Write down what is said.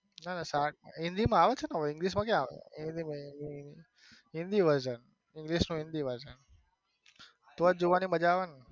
ના ના સાર્ક હિન્દી માં આવે છે ને english માં ક્યાં આવે છે હિન્દી versionendlish નું હિન્દી version તોજ જોવાની મજા આવે ને.